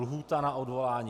Lhůta na odvolání?